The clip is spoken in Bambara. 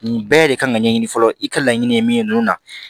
Nin bɛɛ de kan ka ɲɛɲini fɔlɔ i ka laɲini ye min ye ninnu na